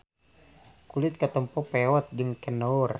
Kulit katempo peot jeung kendor.